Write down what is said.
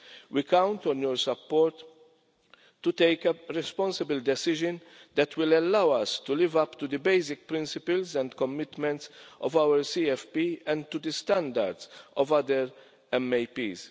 We count on your support to take a responsible decision that will allow us to live up to the basic principles and commitments of our CFP and to the standards of other multiannual action plans.